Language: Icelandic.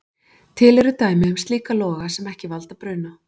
Til eru dæmi um slíka loga sem ekki valda bruna.